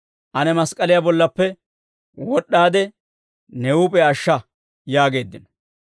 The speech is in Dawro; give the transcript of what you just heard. ane mask'k'aliyaa bollappe wod'd'aade, ne huup'iyaa ashsha» yaageeddino.